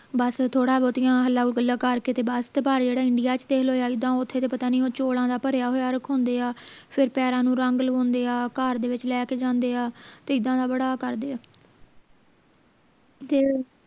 ਸ ਥੋੜਾ ਬਹੁਤੀਆਂ ਹੱਲਾ ਗੱਲਾਂ ਕਰ ਕੇ ਤੇ ਬਸ ਤੇ ਬਾਰ ਚ India ਚ ਦੇਖ ਲਓ ਜਾ ਇੱਦਾਂ ਤਾਂ ਓਥੇ ਤੇ ਪਤਾ ਨੀ ਉਹ ਚੌਲਾਂ ਦਾ ਭਰਿਆ ਹੋਇਆ ਰਖਾਉਂਦੇ ਆ ਫੇਰ ਪੈਰਾਂ ਨੂੰ ਰੰਗ ਲਵਾਉਂਦੇ ਆ ਦੇ ਵਿਚ ਲੈ ਕੇ ਜਾਂਦੇ ਆ ਤੇ ਇੱਦਾਂ ਦਾ ਬੜਾ ਕਰਦੇ ਆ ਤੇ